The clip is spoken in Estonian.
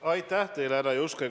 Aitäh teile, härra Juske!